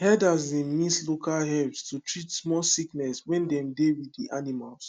herders dey mix local herbs to treat small sickness when dem dey with the animals